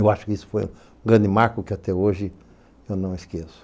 Eu acho que isso foi um grande marco que, até hoje, eu não esqueço.